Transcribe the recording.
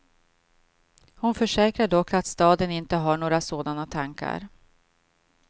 Hon försäkrar dock att staden inte har några sådana tankar.